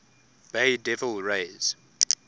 bay devil rays